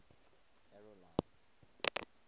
carolina